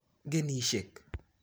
Genishek